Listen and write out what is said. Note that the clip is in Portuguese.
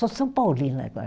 Sou São Paulina agora.